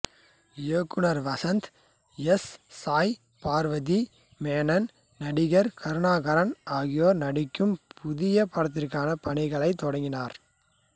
இயக்குநர் வசந்த் எஸ் சாய் பார்வதி மேனன் நடிகர் கருணாகரன் ஆகியோர் நடிக்கும் புதிய படத்திற்கான பணிகளைத் தொடங்கினார்